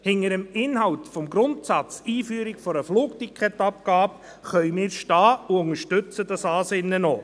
Hinter dem Inhalt des Grundsatzes «Einführung einer Flugticketabgabe» können wir stehen und unterstützen dieses Ansinnen auch.